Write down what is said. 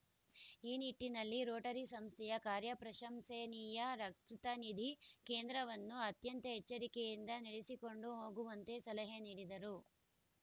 ಈ ನಿಟ್ಟಿನಲ್ಲಿ ರೋಟರಿ ಸಂಸ್ಥೆಯ ಕಾರ್ಯ ಪ್ರಶಂಸನೀಯ ರಕ್ತನಿಧಿ ಕೇಂದ್ರವನ್ನು ಅತ್ಯಂತ ಎಚ್ಚರಿಕೆಯಿಂದ ನಡೆಸಿಕೊಂಡು ಹೋಗುವಂತೆ ಸಲಹೆ ನೀಡಿದರು